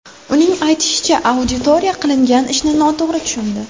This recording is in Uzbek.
Uning aytishicha, auditoriya qilingan ishni noto‘g‘ri tushundi.